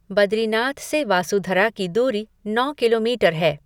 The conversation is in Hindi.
बद्रीनाथ से वासुधरा की दूरी नौ किलोमीटर है।